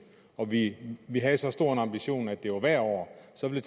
og vi vi havde så stor en ambition at det var hvert år så ville